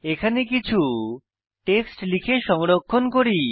এখানে কিছু টেক্সট লিখে সংরক্ষণ করি